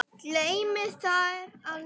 Gleymi þér aldrei.